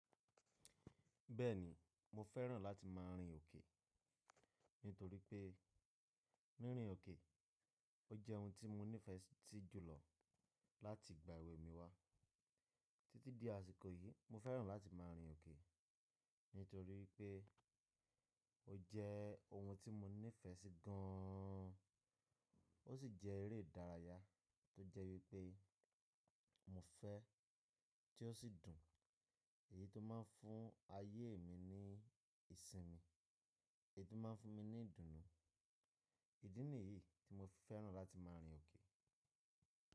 Bẹ́ẹ̀ni, mo fẹ́ràn láti máa rin òkè, nítorí pé nírin òkè, ó jẹ́ ohun tí mo nífẹ̀ẹ́ sí jùlọ láti ìgbà èwe mi wá. Títí di àsìkò yìí, mo fẹ́ràn láti máa rìn òkè, nítorí pé ó jẹ́ ohun tí mo nífẹ̀ẹ́ sí gaaán. Ó sì jẹ́ eré ìdárayá tó jẹ́ wípé mo fẹ́, tí ó sì dùn, èyí tó máa ń fún ayé mi ní ìsinmi, èyí tó máa ń fún mi ní ìdùnnú. Ìdí nìyí tí mo fẹ́ràn láti máa rìn òkè.